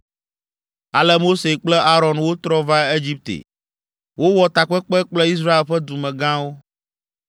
Ale Mose kple Aron wotrɔ va Egipte. Wowɔ takpekpe kple Israel ƒe dumegãwo.